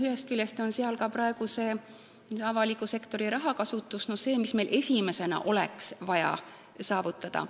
Ühest küljest on seal praegu selline avaliku sektori raha kasutus, mida ka meil esimese asjana oleks vaja saavutada.